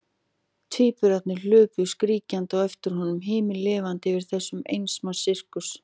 Tvíburarnir hlupu skríkjandi á eftir honum, himinlifandi yfir þessum eins manns sirkus.